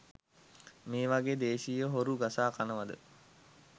මේ වගේ දේශිය හොරු ගසා කනවද?